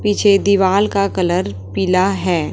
पीछे दीवाल का कलर पीला है।